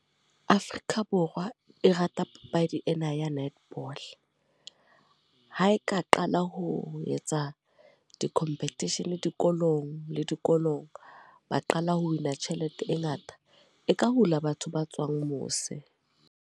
Afrika Borwa e rata papadi ena ya netball. Ha e ka qala ho etsa di-competition dikolong, le dikolong. Ba qala ho win-a tjhelete e ngata, e ka hula batho ba tswang mose.